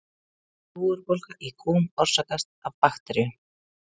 Júgurbólga í kúm orsakast af bakteríum.